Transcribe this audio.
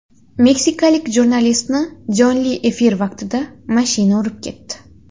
Meksikalik jurnalistni jonli efir vaqtida mashina urib ketdi.